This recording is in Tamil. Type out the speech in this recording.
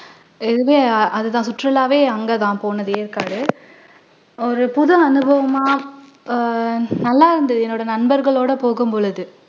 அது தான் சுற்றுலாவே அங்க தான் போனது ஏற்காடு ஒரு புது அனுபவமா அஹ் நல்லா இருந்துது என்னோட நண்பர்களோட போகும் பொழுது